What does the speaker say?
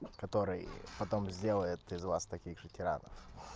который потом сделает из вас таких же тиранов